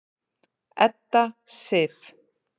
Edda Sif.